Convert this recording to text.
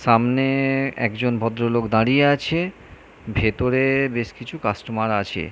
সামনে-এ একজন ভদ্রলোক দাঁড়িয়ে আছে ভেতরে বেশ কিছু কাস্টমার আছে।